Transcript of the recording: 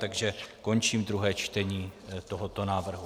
Takže končím druhé čtení tohoto návrhu.